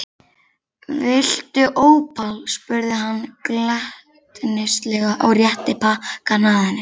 Viltu ópal? spurði hann glettnislega og rétti pakkann að henni.